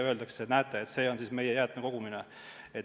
Öeldakse, et näete, see on meie jäätmekogumine.